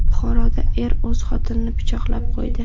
Buxoroda er o‘z xotinini pichoqlab qo‘ydi.